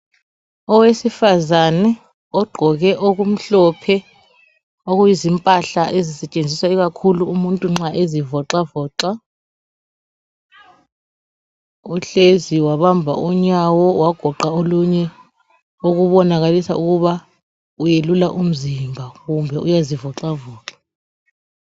Owesifazane oqgoke okumhlophe okuyizimpahla ezisetshenziswa ikakhulu umuntu nxa ezivoxavoxa uhlezi wabamba unyawo wagoqa olunye okubonakalisa ukuba welula umzimba kumbe uyazivoxavoxa.